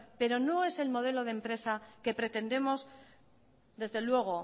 pero no es el modelo de empresa que pretendemos desde luego